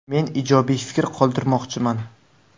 Men ijobiy fikr qoldirmoqchiman.